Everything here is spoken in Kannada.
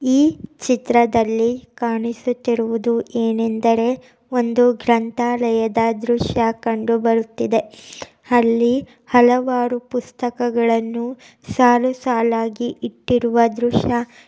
ಈ ಚಿತ್ರದಲ್ಲಿ ಕಾಣಿಸುತ್ತಿರುವುದು ಏನೆಂದರೆ ಒಂದು ಗ್ರಂಥಾಲಯದ ದೃಶ್ಯ ಕಂಡುಬರುತ್ತಿದೆ. ಅಲ್ಲಿ ಹಲವಾರು ಪುಸ್ತಕಗಳನ್ನು ಸಾಲು ಸಾಲಾಗಿ ಇಟ್ಟಿರುವ ದೃಶ್ಯ --